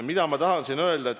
Mida ma tahan öelda?